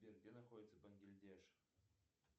сбер где находится бангладеш